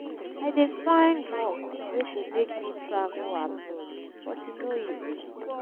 i dey find work wey go make me travel abroad but e no easy.